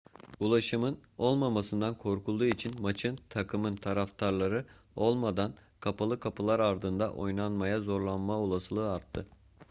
ulaşımın olmamasından korkulduğu için maçın takımın taraftarları olmadan kapalı kapılar ardında oynanmaya zorlanma olasılığı arttı